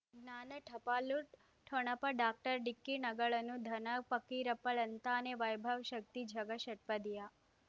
ಜ್ಞಾನ ಟಪಾಲು ಠೊಣಪ ಡಾಕ್ಟರ್ ಢಿಕ್ಕಿ ಣಗಳನು ಧನ ಫಕೀರಪ್ಪ ಳಂತಾನೆ ವೈಭವ್ ಶಕ್ತಿ ಝಗಾ ಷಟ್ಪದಿಯ